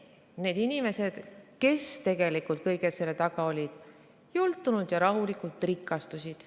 Need inimesed, kes tegelikult kõige selle taga olid, jultunult ja rahulikult rikastusid.